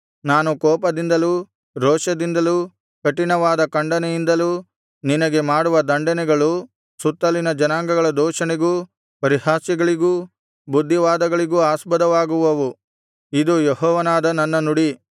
ನಾನು ಕೋಪದಿಂದಲೂ ರೋಷದಿಂದಲೂ ಕಠಿಣವಾದ ಖಂಡನೆಯಿಂದಲೂ ನಿನಗೆ ಮಾಡುವ ದಂಡನೆಗಳು ಸುತ್ತಲಿನ ಜನಾಂಗಗಳ ದೂಷಣೆಗೂ ಪರಿಹಾಸ್ಯಗಳಿಗೂ ಬುದ್ಧಿವಾದಗಳಿಗೂ ಆಸ್ಪದವಾಗುವವು ಇದು ಯೆಹೋವನಾದ ನನ್ನ ನುಡಿ